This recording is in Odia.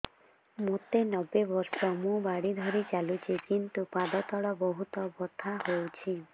ମୋତେ ନବେ ବର୍ଷ ମୁ ବାଡ଼ି ଧରି ଚାଲୁଚି କିନ୍ତୁ ପାଦ ତଳ ବହୁତ ବଥା ହଉଛି